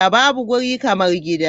Babu wuri kamar gida.